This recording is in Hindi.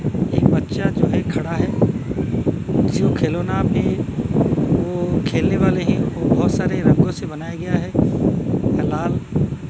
एक बच्चा जो है खड़ा है जो खिलौने पे वो खेलने वाले है वो बहोत सारे रंगों से बनाया गया है लाल --